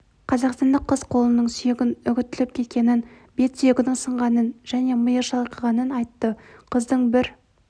қазақстандық қыз қолының сүйегін үгітіліп кеткенін бет сүйегінің сынғанын және миы шайқалғанын айтты қыздың бір